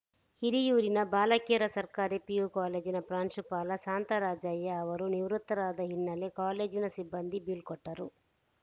ಹಿರಿಯೂರಿನ ಬಾಲಕಿಯರ ಸರ್ಕಾರಿ ಪಿಯು ಕಾಲೇಜಿನ ಪ್ರಾಂಶುಪಾಲ ಶಾಂತರಾಜಯ್ಯ ಅವರು ನಿವೃತ್ತರಾದ ಹಿನ್ನೆಲೆ ಕಾಲೇಜಿನ ಸಿಬ್ಬಂದಿ ಬೀಳ್ಕೊಟ್ಟರು